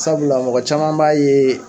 Sabula mɔgɔ caman b'a ye.